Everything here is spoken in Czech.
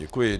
Děkuji.